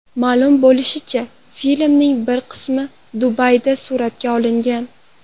Ma’lum bo‘lishicha, filmning bir qismi Dubayda suratga olingan.